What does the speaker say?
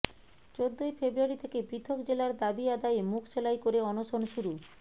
চোদ্দই ফেব্রুয়ারি থেকে পৃথক জেলার দাবি আদায়ে মুখ সেলাই করে অনশন শুরু